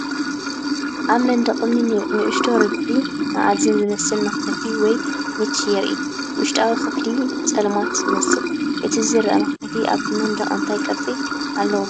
ኣብ መንደቕ እምኒ ንእሽቶን ርብዒ-መኣዝን ዝመስል መኽፈቲ ወይ ‘ኒች’ የርኢ። ውሽጣዊ ክፍሊ ጸልማት ይመስል። እቲ ዝርአ መኽፈቲ ኣብቲ መንደቕ እንታይ ቅርጺ ኣለዎ?